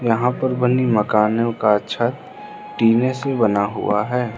यहां पर बनी मकानों का छत टिने से बना हुआ है।